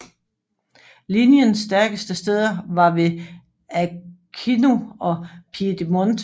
Linjens stærkeste steder var ved Aquino og Piedimonte